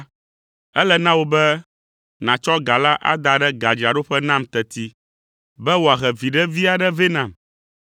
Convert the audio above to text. ele na wò be nàtsɔ ga la ada ɖe gadzraɖoƒe nam teti be wòahe viɖe vi aɖe vɛ nam.